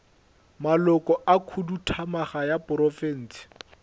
maloko a khuduthamaga ya profense